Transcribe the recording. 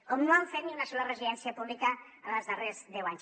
com no han fet ni una sola residència pública en els darrers deu anys